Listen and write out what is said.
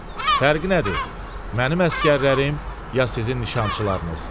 Fərqi nədir? Mənim əsgərlərim ya sizin nişançılarınız?